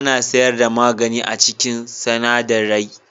Ana sayar da magani a cikin sinadarai.